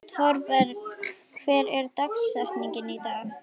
Thorberg, hver er dagsetningin í dag?